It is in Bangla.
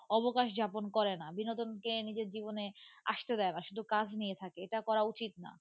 অবকাশ যাপন করে না বিনোদনকে নিজের জীবনে আসতে দেয় না শুধু কাজ নিয়ে থাকে. এটা করা উচিত না.